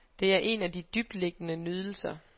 Det er en af de dybtliggende nydelser.